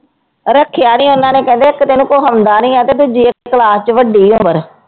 ਰੱਖਿਆ ਨੀ ਉਹਨਾਂ ਨੇ ਕਹਿੰਦੇ ਇੱਕ ਤਾਂ ਇਹਨੂੰ ਕੁਛ ਆਉਂਦਾ ਨੀ ਹੈ ਤੇ ਦੂਜੀ class ਚ ਵੱਡੀ ਉਮਰ